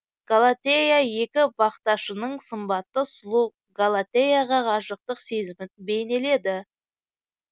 галатея екі бақташының сымбатты сұлу галатеяға ғашықтық сезімін бейнеледі